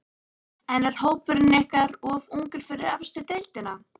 En er hópurinn ykkar of ungur fyrir efstu deildina?